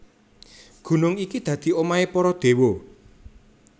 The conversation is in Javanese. Gunung iki dadi omahé para déwa